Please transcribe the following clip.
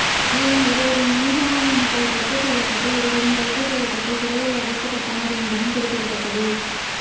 மேலும் இருவரின் முன்ஜாமீன் மனுக்கள் ரத்து செய்யப்பட்டு இருவரும் கைது செய்யப்பட்டு சிறையில் அடைக்கப்பட்டனர் என்பதும் குறிப்பிடத்தக்கது